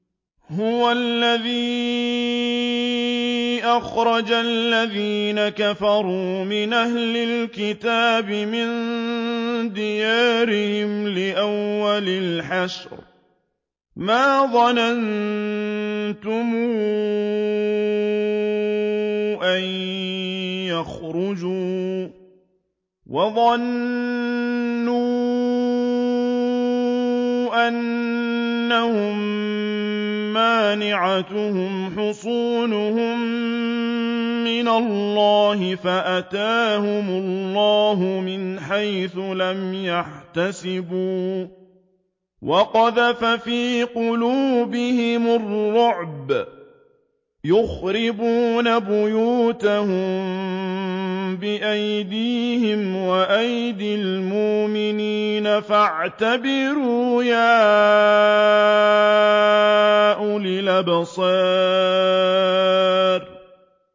هُوَ الَّذِي أَخْرَجَ الَّذِينَ كَفَرُوا مِنْ أَهْلِ الْكِتَابِ مِن دِيَارِهِمْ لِأَوَّلِ الْحَشْرِ ۚ مَا ظَنَنتُمْ أَن يَخْرُجُوا ۖ وَظَنُّوا أَنَّهُم مَّانِعَتُهُمْ حُصُونُهُم مِّنَ اللَّهِ فَأَتَاهُمُ اللَّهُ مِنْ حَيْثُ لَمْ يَحْتَسِبُوا ۖ وَقَذَفَ فِي قُلُوبِهِمُ الرُّعْبَ ۚ يُخْرِبُونَ بُيُوتَهُم بِأَيْدِيهِمْ وَأَيْدِي الْمُؤْمِنِينَ فَاعْتَبِرُوا يَا أُولِي الْأَبْصَارِ